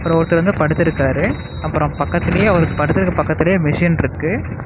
அப்புறம் ஒருத்தர் வந்து படுத்து இருக்காரு. அப்புறம் பக்கத்திலேயே அவர் படுத்திருக்க பக்கத்திலேயே மிஷின் இருக்கு.